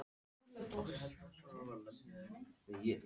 Trúarjátningin var látin liggja milli hluta.